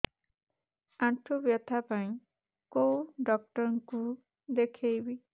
ଆଣ୍ଠୁ ବ୍ୟଥା ପାଇଁ କୋଉ ଡକ୍ଟର ଙ୍କୁ ଦେଖେଇବି